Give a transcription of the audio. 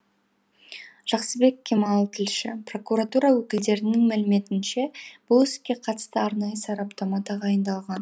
жақсыбек кемал тілші прокуратура өкілдерінің мәліметінше бұл іске қатысты арнайы сараптама тағайындалған